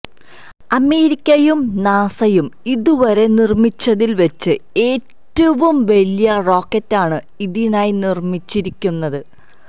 അമേരിക്കയും നാസയും ഇതുവരെ നിര്മിച്ചതില് വച്ച് ഏറ്റവും വലിയ റോക്കറ്റാണ് ഇതിനായി നിര്മ്മിച്ചിരിക്കുന്നത്